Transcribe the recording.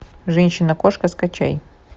женщина кошка скачай